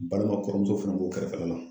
Balima kɔrɔmuso fana b'o kɛrɛfɛla la.